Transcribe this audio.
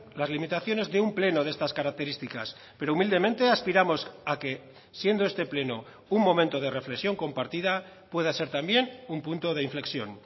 las limitaciones de un pleno de estas características pero humildemente aspiramos a que siendo este pleno un momento de reflexión compartida pueda ser también un punto de inflexión